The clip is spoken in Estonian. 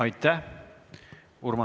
Aitäh!